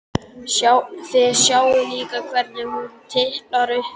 Þið sjáið líka hvernig hún tiplar upp stiga.